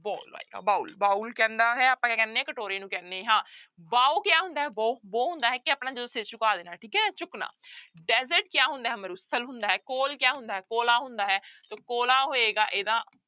Bowl ਆਏਗਾ bowl bowl ਕਹਿੰਦਾ ਹੈ ਆਪਾਂ ਕੀ ਕਹਿੰਦੇ ਹਾਂ ਕਟੋਰੇ ਨੂੰ ਕਹਿੰਦੇ ਹਾਂ bow ਕਿਹਾ ਹੁੰਦਾ ਹੈ bow bow ਹੁੰਦਾ ਹੈ ਕਿ ਆਪਣਾ ਜਦੋਂ ਸਿਰ ਝੁਕਾ ਦੇਣਾ ਹੈ ਠੀਕ ਹੈ ਝੁਕਣਾ desert ਕਿਆ ਹੁੰਦਾ ਹੈ ਮਾਰੂਥਲ ਹੁੰਦਾ ਹੈ coal ਕਿਆ ਹੁੰਦਾ ਹੈ ਕੋਲਾ ਹੁੰਦਾ ਹੈ ਤੋ ਕੋਲਾ ਹੋਏਗਾ ਇਹਦਾ।